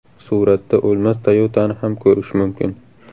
Suratda o‘lmas Toyota’ni ham ko‘rish mumkin.